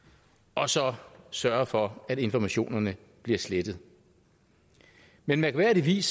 og så sørge for at informationerne bliver slettet men mærkværdigvis